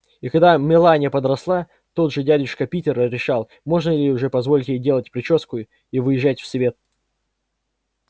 и когда мелания подросла тот же дядюшка питер решал можно ли уже позволить ей делать причёску и выезжать в свет